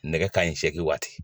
Nɛgɛ kaɲɛ seegin waati.